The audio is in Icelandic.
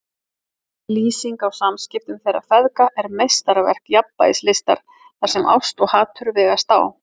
Lýsingin á samskiptum þeirra feðga er meistaraverk jafnvægislistar þar sem ást og hatur vegast á.